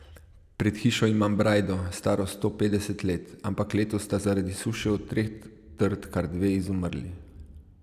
Pred hišo imam brajdo, staro sto petdeset let, ampak letos sta zaradi suše od treh trt kar dve izumrli.